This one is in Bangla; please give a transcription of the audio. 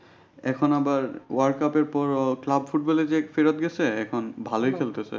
এখন আবার world cup এর পর ও club football এ যায় ফেরত গেছে এখন ভালোই খেলতেছে।